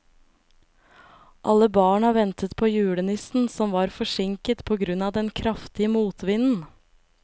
Alle barna ventet på julenissen, som var forsinket på grunn av den kraftige motvinden.